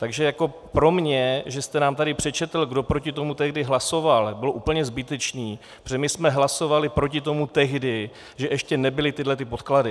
Takže jako pro mě, že jste nám tady přečetl, kdo proti tomu tehdy hlasoval, bylo úplně zbytečné, protože my jsme hlasovali proti tomu tehdy, že ještě nebyly tyhlety podklady.